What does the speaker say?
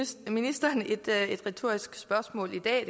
stille ministeren et retorisk spørgsmål i dag